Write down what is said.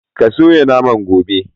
Ka soya naman, gobe!.'